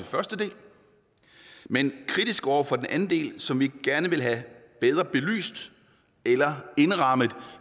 første del men kritiske over for den anden del som vi gerne vil have bedre belyst eller indrammet